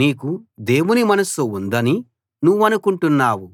నీకు దేవుని మనస్సు ఉందని నువ్వనుకుంటున్నావు